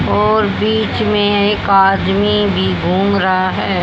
और बीच में एक आदमी भी घूम रहा है।